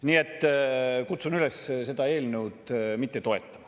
Nii et kutsun üles seda eelnõu mitte toetama.